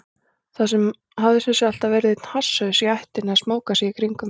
Það hafði sem sé alltaf verið einn hasshaus í ættinni að smóka í kringum mig.